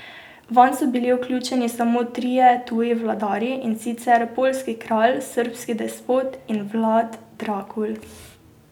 Vanj so bili vključeni samo trije tuji vladarji, in sicer poljski kralj, srbski despot in Vlad Drakul.